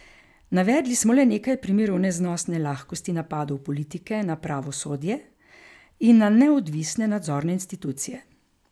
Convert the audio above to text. Navedli smo le nekaj primerov neznosne lahkosti napadov politike na pravosodje in na neodvisne nadzorne institucije.